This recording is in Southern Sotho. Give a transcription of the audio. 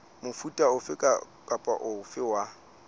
mofuta ofe kapa ofe wa